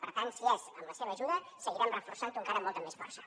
per tant si és amb la seva ajuda seguirem reforçant ho encara amb molta més força